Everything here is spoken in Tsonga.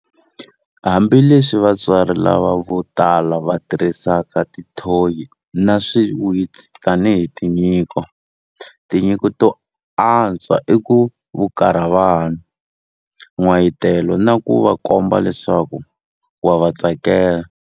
Hambileswi vatswari lava vo tala va tirhisaka tithoyi na swiwitsi tanihi tinyiko, tinyiko to antswa i ku vukarha vana, n'wayitelo na ku va komba leswaku wa va tsakela.